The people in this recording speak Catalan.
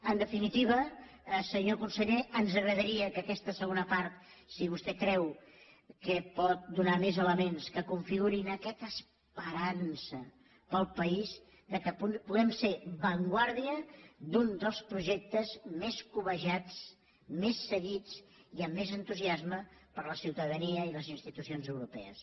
en definitiva senyor conseller ens agradaria que aquesta segona part si vostè creu que pot donar més elements que configurin aquesta esperança per al país que puguem ser avantguarda d’un dels projectes més cobejats més seguits i amb més entusiasme per la ciutadania i les institucions europees